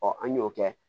an y'o kɛ